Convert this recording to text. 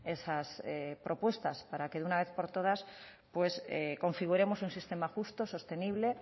esas propuestas para que de una vez por todas pues configuremos un sistema justo sostenible